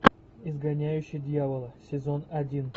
изгоняющий дьявола сезон один